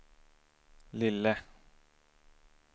lille